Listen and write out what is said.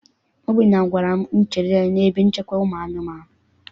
Obinna gwara m chere ya n'ebe nchekwa ụmụ anụmanụ.